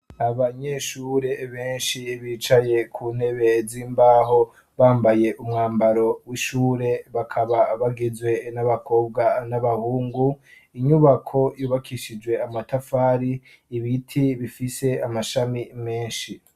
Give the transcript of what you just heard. Abanyeshure benshi bicaye ku ntebe z'imbaho bambaye umwambaro w'ishure bakaba bagizwe n'abakobwa n'abahungu inyubako yubakishijwe amatafari ibiti bifise amashami menshi.